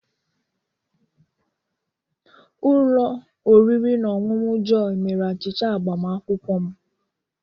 Ụlọ oriri na ọṅụṅụ Jọyi mere achịcha agbamakwụkwọ m.